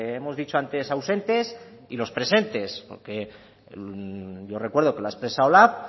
hemos dicho antes ausentes y los presentes porque yo recuerdo que lo ha expresado lab